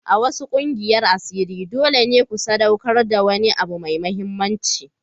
A wasu ƙungiyar asiri dole ne ku sadaukar da wani abu mai mahimmanci.